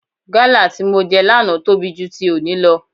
Gálà tí mo jẹ lánàá tóbi ju ti òní lọ.